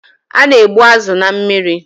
A na-egbu azụ na mmiri.